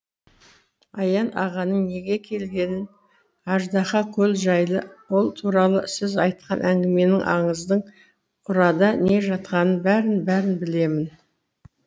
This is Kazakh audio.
аян ағаның неге келгенін аждаһа көл жайлы ол туралы сіз айтқан әңгіменің аңыздың ұрада не жатқанын бәрін бәрін білемін